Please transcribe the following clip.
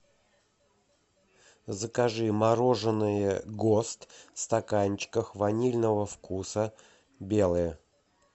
закажи мороженное гост в стаканчиках ванильного вкуса белое